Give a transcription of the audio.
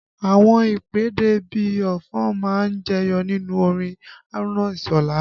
Àwọn ìpèdè bí ọfọ̀ má ń jẹyọ nínú orin Haruna Isola